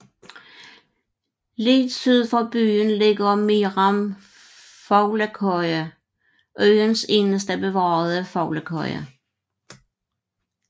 Lidt syd for byen ligger med Meeram Fuglekøje øens eneste bevarede fuglekøje